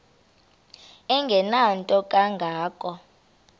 engenanto kanga ko